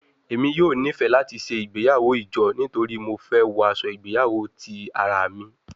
Emi yoo nifẹ lati ṣe igbeyawo ijo nitori Mo fẹ wọ aṣọ igbeyawo ti ara mi